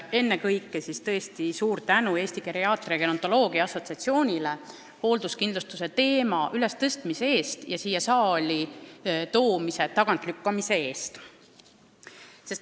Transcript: Ennekõike tõesti suur tänu Eesti Gerontoloogia ja Geriaatria Assotsiatsioonile hoolduskindlustuse teema ülestõstmise ja siia saali toomise tagantlükkamise eest.